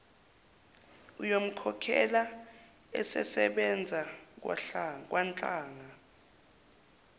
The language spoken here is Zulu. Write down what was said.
uyomkhokhela esesebenza kwanhlanga